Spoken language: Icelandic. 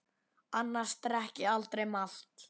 Annars drekk ég aldrei malt.